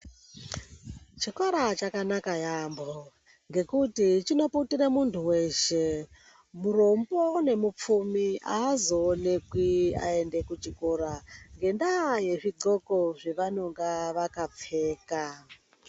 Chikora chakanaka yaambho ngekuti chinoputire muntu weshe, murombo nemupfumi azoonekwi ayende kuchikora ngendaa yezvidhwoko zvevanonga vakapfeka.